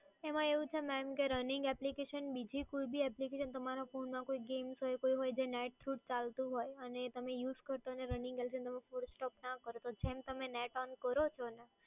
એમાં એવું છે કે mamrunning application બીજી કોય બી appication તમારા phone માં કોંય games હોય જે net through ચાલતું હોય અને તમે use કરતાં હોય અને તમે force stop ના કરો અને તમે જેમ net on કરો છો ને